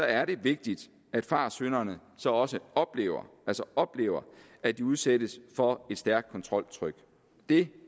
er det vigtigt at fartsynderne så også oplever altså oplever at de udsættes for et stærkt kontroltryk det